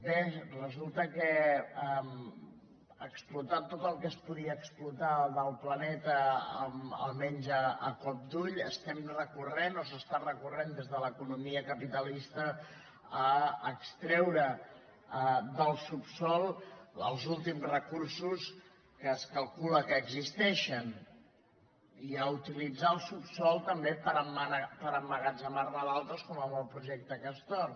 bé resulta que explotat tot el que es podia explotar del planeta almenys a cop d’ull estem recorrent o s’està recorrent des de l’economia capitalista a extreure del subsòl els últims recursos que es calcula que existeixen i a utilitzar el subsòl també per emmagatzemarne d’altres com amb el projecte castor